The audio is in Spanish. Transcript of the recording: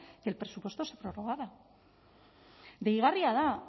que el presupuesto se prorrogara deigarria da